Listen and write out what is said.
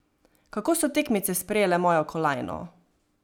Kako so tekmice sprejele mojo kolajno?